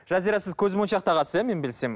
жазира сіз көзмоншақ тағасыз иә мен білсем